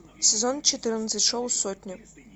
сезон четырнадцать шоу сотня